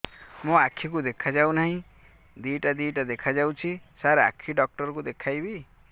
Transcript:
ମୋ ଆଖିକୁ ଦେଖା ଯାଉ ନାହିଁ ଦିଇଟା ଦିଇଟା ଦେଖା ଯାଉଛି ସାର୍ ଆଖି ଡକ୍ଟର କୁ ଦେଖାଇବି